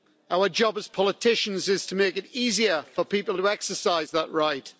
Our job as politicians is to make it easier for people to exercise that right.